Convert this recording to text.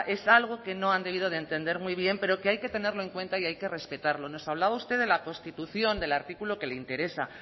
es algo que no han debido de entender muy bien pero que hay que tenerlo en cuenta y hay que respetarlo nos hablaba usted de la constitución del artículo que le interesa